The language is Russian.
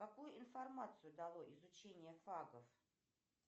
какую информацию дало изучение фагов